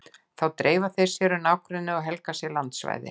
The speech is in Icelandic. Þá dreifa þeir sér um nágrennið og helga sér landsvæði.